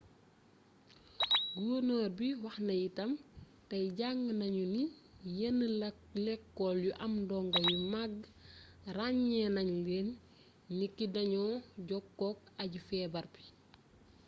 gornoor bi wax na itam tey jàng nañu ni yenn lekool yu am ay ndongo yu mag ràññee nañ leen niki dañoo jokkook aji feebar bi